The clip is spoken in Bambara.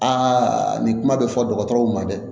Aa nin kuma bɛ fɔ dɔgɔtɔrɔw ma dɛ